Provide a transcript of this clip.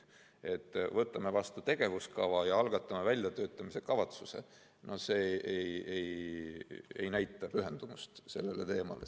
Kui me võtame vastu tegevuskava ja algatame väljatöötamiskavatsuse, siis see ei näita pühendumist sellele teemale.